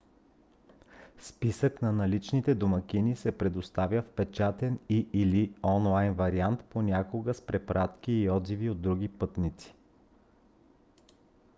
списък на наличните домакини се предоставя в печатен и/или онлайн вариант понякога с препратки и отзиви от други пътници